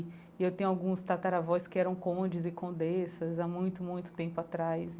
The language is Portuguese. E eu tenho alguns tataravós que eram côndes e condessas há muito, muito tempo atrás.